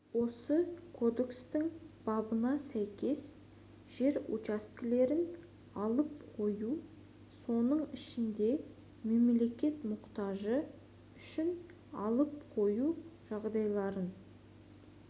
осы кодекстің бабына сәйкес жер учаскелерін алып қою соның ішінде мемлекет мұқтажы үшін алып қою жағдайларын